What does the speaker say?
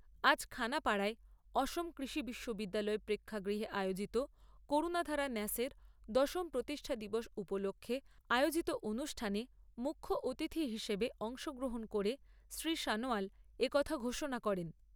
আজ খানাপাড়ার অসম কৃষি বিশ্ববিদ্যালয় প্রেক্ষাগৃহে আয়োজিত করুণাধারা ন্যাসের দশম প্রতিষ্ঠা দিবস উপলক্ষে আয়োজিত অনুষ্ঠানে মুখ্য অতিথি হিসেবে অংশগ্রহণ করে শ্রী সনোয়াল এ কথা ঘোষণা করেন।